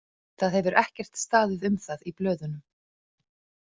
Það hefur ekkert staðið um það í blöðunum.